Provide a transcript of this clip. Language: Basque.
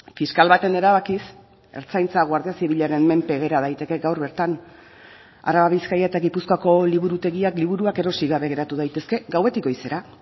fiskal baten erabakiz ertzaintza guardia zibilaren menpe gera daiteke gaur bertan araba bizkaia eta gipuzkoako liburutegiak liburuak erosi gabe geratu daitezke gauetik goizera